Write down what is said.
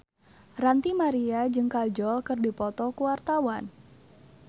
Ranty Maria jeung Kajol keur dipoto ku wartawan